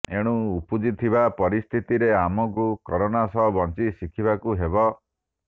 ଏଣୁ ଉପୁଜିଥିବା ପରିସ୍ଥିତିରେ ଆମକୁ କରୋନା ସହ ବଞ୍ଚି ଶିଖିବାକୁ ହେବ